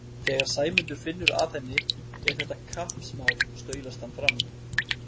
Þegar Sæmundur finnur að henni er þetta kappsmál staulast hann fram.